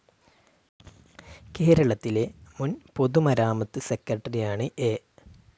കേരളത്തിലെ മുൻ പൊതുമരാമത്ത് സെക്രട്ടറിയാണ് എ.